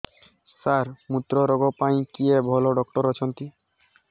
ସାର ମୁତ୍ରରୋଗ ପାଇଁ କିଏ ଭଲ ଡକ୍ଟର ଅଛନ୍ତି